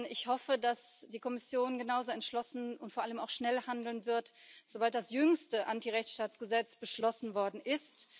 Ich hoffe, dass die Kommission genauso entschlossen und vor allem auch schnell handeln wird, sobald das jüngste Antirechtsstaatsgesetz beschlossen worden ist.